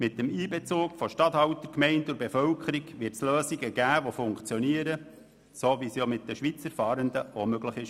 Mit dem Einbezug von Regierungsstatthaltern, Bevölkerung und Gemeinden wird es funktionierende Lösungen geben, wie dies auch mit den Schweizer Fahrenden möglich war.